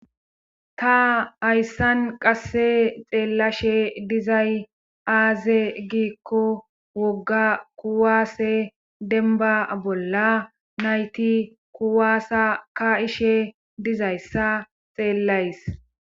Ta hayssan qasse xeellashe dizay aaze giikko wogga kuwaase denba bolla nayti kuwaasa ka ishe dizayssa xeellays.